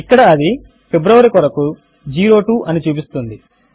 ఇక్కడ అది ఫిబ్రవరి కొరకు 02 అని చూపిస్తోంది